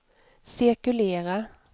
cirkulera